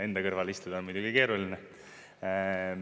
Enda kõrvale istuda on muidugi keeruline.